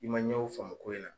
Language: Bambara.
I man ɲɛw faamu ko in na.